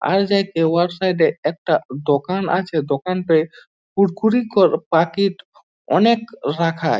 আর যাতে ও সাইডে একটা দোকান আছে দোকানটায় কুরকুরি প্যাকেট অনেক রাখা।